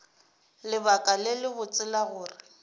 lebaka le lebotse la gore